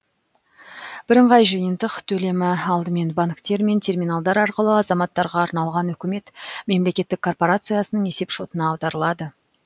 бірыңғай жиынтық төлемі алдымен банктер мен терминалдар арқылы азаматтарға арналған үкімет мемлекеттік корпорациясының есепшотына аударылады